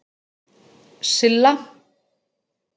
Silla